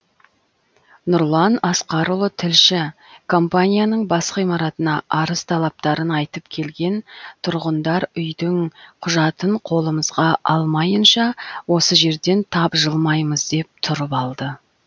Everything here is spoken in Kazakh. нұрлан асқарұлы тілші компанияның бас ғимаратына арыз талаптарын айтып келген тұрғындар үйдің құжатын қолымызға алмайынша осы жерден тапжылмаймыз деп тұрып алды